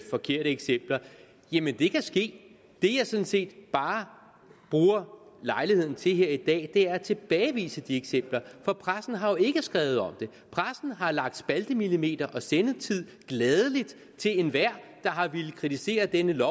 forkerte eksempler jamen det kan ske det jeg sådan set bare bruger lejligheden til her i dag er at tilbagevise de eksempler for pressen har jo ikke skrevet om det pressen har gladelig lagt spaltemillimeter og sendetid til enhver der har ville kritisere dette